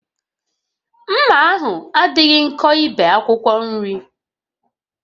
Mma ahụ adịghị nkọ ibe akwụkwọ nri